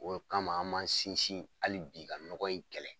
O le kama an m'an sinsin hali bi ka nɔgɔ in kɛlɛ.